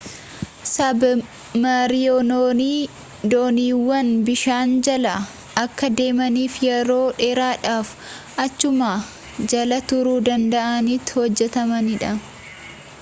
sabmariinonni dooniiwwan bishaan jala akka deemaniifi yeroo dheeraadhaaf achuma jala turuu danda'anitti hojjetamanidha